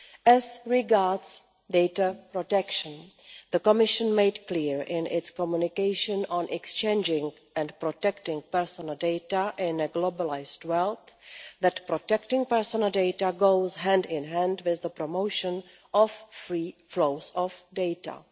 As regards data protection, the Commission made clear in its Communication on exchanging and protecting personal data in a globalised world that protecting personal data goes hand in hand with the promotion of free flows of data.